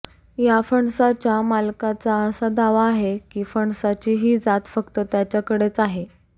या फणसाच्या मालकाचा असा दावा आहे कि फणसाची ही जात फक्त त्याच्याकडेच आहे